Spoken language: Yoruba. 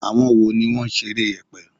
Àwọn wo ni wọ́n ṣeré yèpè?